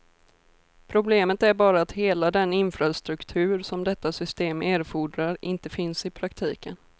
Problemet är bara att hela den infrastruktur som detta system erfordrar inte finns i praktiken.